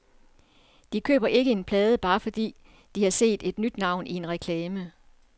De køber ikke en plade, bare fordi de har set et nyt navn i en reklame.